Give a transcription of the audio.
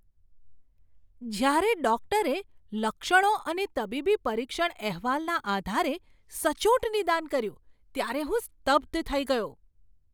જ્યારે ડૉક્ટરે લક્ષણો અને તબીબી પરીક્ષણ અહેવાલના આધારે સચોટ નિદાન કર્યું ત્યારે હું સ્તબ્ધ થઈ ગયો!